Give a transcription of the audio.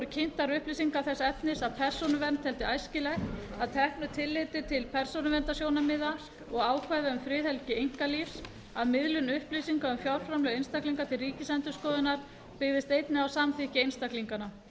voru kynntar upplýsingar þess efnis að persónuvernd teldi æskilegt að teknu tilliti til persónuverndarsjónarmiða og ákvæða um friðhelgi einkalífs að miðlun upplýsinga um fjárframlög einstaklinga til ríkisendurskoðunar byggðist einnig á samþykki einstaklinganna